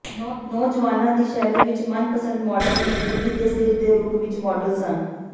ਨੌਜਵਾਨਾਂ ਦੀ ਸ਼ੈਲੀ ਵਿਚ ਮਨਪਸੰਦ ਮਾਡਲ ਇਕ ਬਿੱਲੀ ਦੇ ਸਿਰ ਦੇ ਰੂਪ ਵਿਚ ਮਾਡਲ ਸਨ